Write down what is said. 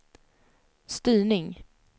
styrning